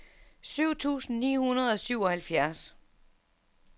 syv tusind ni hundrede og syvoghalvfjerds